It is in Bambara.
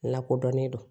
Lakodɔnnen do